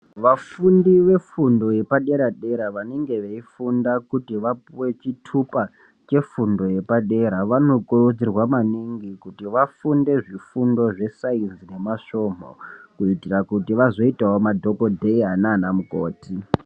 Vafundi vefundo yepadera dera vanenge veifunda kuti vapuwe chitupa chefundo yepadera vanokurudzirwa maningi kuti vafunde zvifundo zvesainzi nemasvomho kuitira kuti vazoitawo madhokodheya nanamukoti.